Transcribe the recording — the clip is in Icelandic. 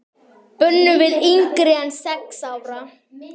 Bönnuð yngri en sex ára.